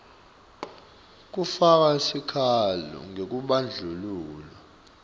kufaka sikhalo ngekubandlululwa